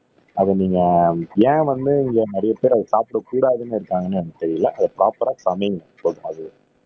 அத நீங்க ஏன் வந்து இங்க நிறைய பேர் அத சாப்பிட கூடாதுன்னு இருக்காங்கன்னு எனக்கு தெரியல அத ப்ரொபரா சமைங்க